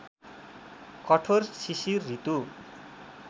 कठोर शिशिर ऋतु